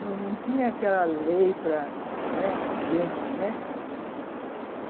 Não não tinha aquela para, né, de gente, né?